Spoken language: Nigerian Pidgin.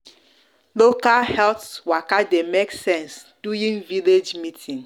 local health waka de make sense village meeting